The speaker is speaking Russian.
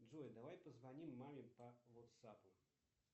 джой давай позвоним маме по ватсапу